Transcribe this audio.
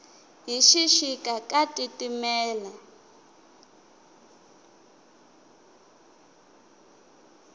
hi xixika ka titimela